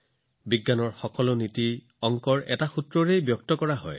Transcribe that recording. বিজ্ঞানৰ প্ৰতিটো নীতি এটা গাণিতিক সূত্ৰত প্ৰকাশ কৰা হয়